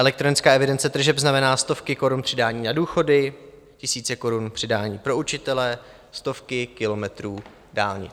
Elektronická evidence tržeb znamená stovky korun přidání na důchody, tisíce korun přidání pro učitele, stovky kilometrů dálnic.